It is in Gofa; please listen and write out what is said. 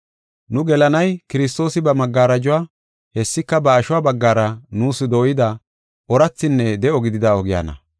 Nu gelanay Kiristoosi ba magarajuwa, hessika ba ashuwa baggara nuus dooyida oorathinne de7o gidida ogiyana.